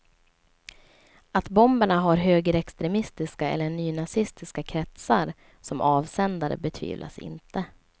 Att bomberna har högerextremistiska eller nynazistiska kretsar som avsändare betvivlas inte.